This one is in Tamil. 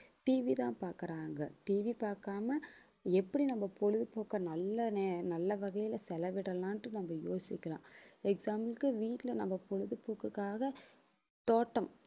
TV தான் பாக்குறாங்க TV பாக்காம எப்படி நம்ம பொழுதுபோக்கை நல்ல நே~ நல்ல வகையிலே செலவிடலாம்ன்ட்டு நம்ம யோசிக்கலாம் example க்கு வீட்ல நம்ம பொழுதுபோக்குக்காக தோட்டம்